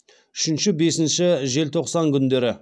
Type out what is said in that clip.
үшінші бесінші желтоқсан күндері